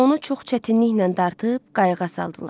Onu çox çətinliklə dartıb qayıqa saldılar.